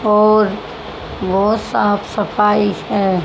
और बहोत साफ सफाई है।